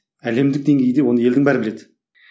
әлемдік деңгейде оны елдің бәрі біледі